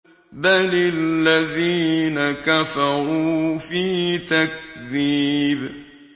بَلِ الَّذِينَ كَفَرُوا فِي تَكْذِيبٍ